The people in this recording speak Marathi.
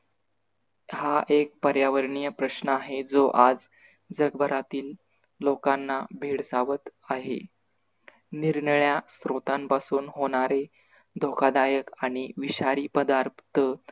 हा एक पर्यावरणीय प्रश्न आहे जो आज जगभरातील लोकांना भेडसावत आहे. निरनिळ्या श्रोतांपासून होणारे धोकादायक आणि विषारी पदार्थ